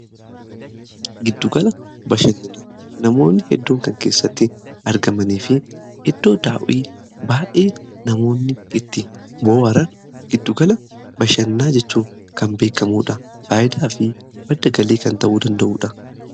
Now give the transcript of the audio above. giddugala bashannanaa namoonni hedduun kan keessatti argamanii fi iddoo daawwii baay'ee namoonni itti bohaaran giddugala bashannanaa jechuun kan beekamuudha. faayidaa fi maddagalii kan ta'uu danda'uudha.